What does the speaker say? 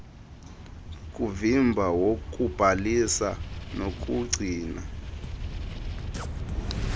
kuvimba wokubhalisa nokugcina